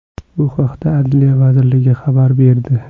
Bu haqda Adliya vazirligi xabar berdi.